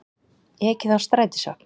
Ekið á strætisvagn